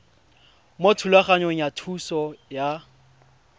mo thulaganyong ya thuso y